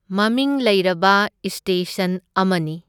ꯃꯃꯤꯡ ꯂꯩꯔꯕ ꯏꯁꯇꯦꯁꯟ ꯑꯃꯅꯤ꯫